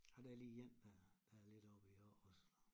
Ej der er lige én dér der er lidt oppe i år også